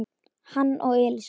hann og Elísa.